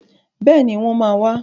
Bẹ́ẹ̀ni, wọ́n máa wà.